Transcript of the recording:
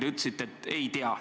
Te ütlesite, et ei tea.